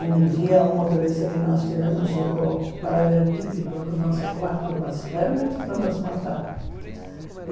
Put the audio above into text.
Um dia, um motorista que nós tivemos jogou um paralelepípedo no nosso quarto, mas realmente para nos matar.